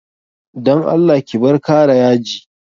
Dan Allah ki bar kara yaji.